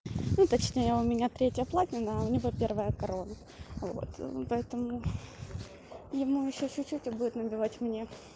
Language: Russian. ну точнее у меня третья платина а у него первая корона вот поэтому ему ещё чуть-чуть и будет набивать мне